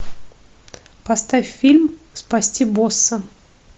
поставь фильм спасти босса